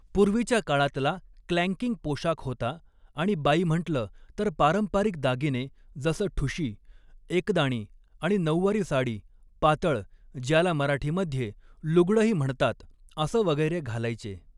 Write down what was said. पूर्वीच्या काळातला क्लँकिंग पोशाख होता आणि बाई म्हंटलं तर पारंपारिक दागिने जसं ठुशी, एकदाणी आणि नऊवारी साडी, पातळ, ज्याला मराठीमध्ये लुगडंही म्हणतात असं वगैरे घालायचे